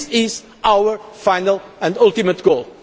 jobs. This is our final and ultimate